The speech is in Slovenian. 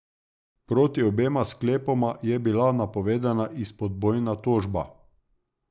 Proti obema sklepoma je bila napovedana izpodbojna tožba.